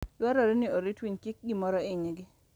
Dwarore ni orit winy kik gimoro hinygi.